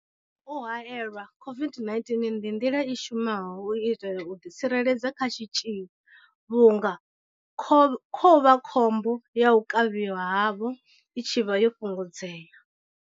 U haelelwa COVID-19 ndi nḓila i shumaho u itela u ḓitsireledza kha tshitzhili vhunga kho u vhakhombo ya u kavhiwa havho i tshi vha yo fhungudzea.